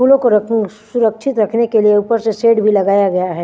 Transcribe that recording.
फूलों को रखु सुरक्षित रखने के लिये ऊपर से सेट भी लगाया गया है।